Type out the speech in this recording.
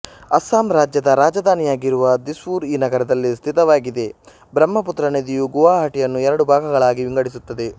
ಅಸ್ಸಾಂ ರಾಜ್ಯದ ರಾಜಧಾನಿಯಾಗಿರುವ ದಿಸ್ಪುರ್ ಈ ನಗರದಲ್ಲಿ ಸ್ಥಿತವಾಗಿದೆ ಬ್ರಹಪುತ್ರ ನದಿಯು ಗುವಾಹಟಿಯನ್ನು ಎರಡು ಭಾಗಗಳಾಗಿ ವಿಂಗಡಿಸುತ್ತದೆ